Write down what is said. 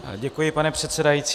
Děkuji, pane předsedající.